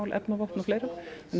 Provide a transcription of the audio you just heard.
efnavopn og fleira